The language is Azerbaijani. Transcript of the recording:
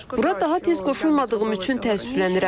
Bura daha tez qoşulmadığım üçün təəssüflənirəm.